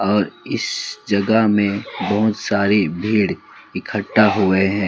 और यह जगह में बहुत सारी भीड़ इक्कठा हुए हैं।